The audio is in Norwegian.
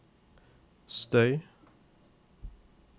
støy